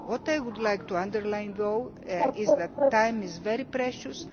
What I would like to underline is that time is very precious.